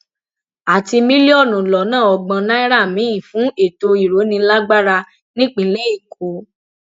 àti mílíọnù lọnà ọgbọn náírà míín fún ètò ìrónílágbára nípínlẹ èkó